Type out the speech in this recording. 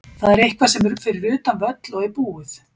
Það er eitthvað sem er fyrir utan völl og er búið.